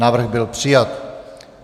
Návrh byl přijat.